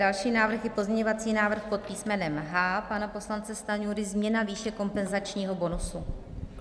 Další návrh je pozměňovací návrh pod písmenem H pana poslance Stanjury, změna výše kompenzačního bonusu.